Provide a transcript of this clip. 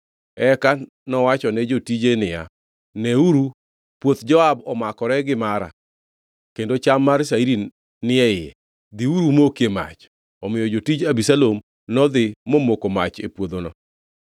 Eka nowachone jotije niya, “Neuru puoth Joab omakore gi mara, kendo cham mar shairi ni e iye. Dhiuru umokie mach.” Omiyo jotij Abisalom nodhi momoko mach e puodhono.